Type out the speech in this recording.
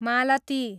मालती